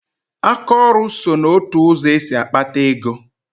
Aka ọrụ so n'otu ụzọ esi akpata ego